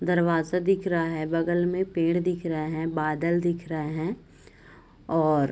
दरवाजा दिख रहा है बगल में पेड़ दिख रहा है बादल दिख रहे हैं और --